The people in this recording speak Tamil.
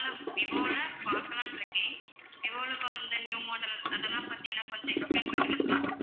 விவோல பாக்கலாம்னுருக்கேன் விவோல இப்ப வந்த new model அதெல்லாம் பத்தி எனக்கு கொஞ்சம் explain பண்ணுவீங்களா?